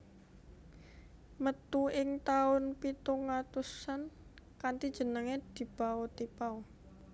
Metu ing tahun pitung atusan kanthi jeneng Di Bao Ti Pao